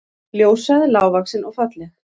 Ljóshærð, lágvaxin og falleg